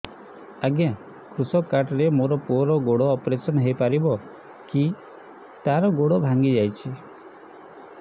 ଅଜ୍ଞା କୃଷକ କାର୍ଡ ରେ ମୋର ପୁଅର ଗୋଡ ଅପେରସନ ହୋଇପାରିବ କି ତାର ଗୋଡ ଭାଙ୍ଗି ଯାଇଛ